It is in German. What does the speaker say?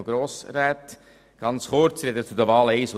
Aber wir warten noch kurz, bis es ruhiger ist.